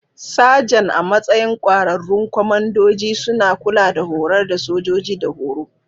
Sajan, a matsayin ƙwararrun kwamandoji, suna kula da horar da sojoji da horo.